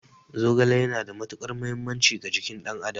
Zogale yana da matuƙar mahimmanci ga jikin ɗan adam